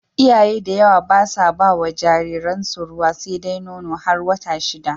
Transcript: Iyaye da yawa basa bawa jariran su ruwa sedai Nono, har wata shida